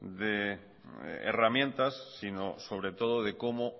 de herramientas sino sobre todo de cómo